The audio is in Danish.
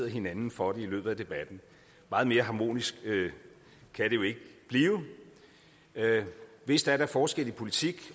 hinanden for det i løbet af debatten meget mere harmonisk kan det jo ikke blive vist er der forskelle i politik